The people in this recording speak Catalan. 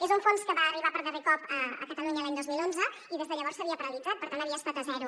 és un fons que va arribar per darrer cop a catalunya l’any dos mil onze i que des de llavors s’havia paralitzat per tant havia estat a zero